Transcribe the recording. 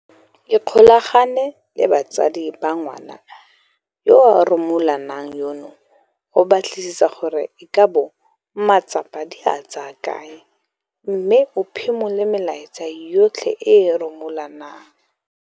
Ikgolaganye le batsadi ba ngwana yo a rumulanang yono go batlisisa gore e ka bo matsapa di a tsaya kae mme o phimole melaetsa yotlhe e e rumulanang.